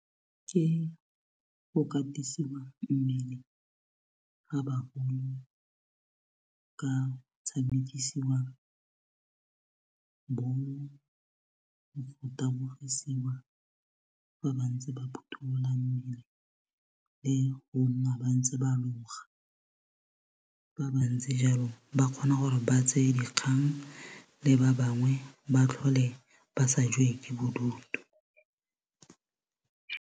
Ke go katisiwa mmele ga ka tshamekisiwa bolo le go tabogisiwa ba bantsi ba phutolola mmele le go nna ba ntse ba loga fa ba ntse jaanong ba kgona gore ba tseye dikgang le ba bangwe ba tlhole ba sa jewe ke bodutu.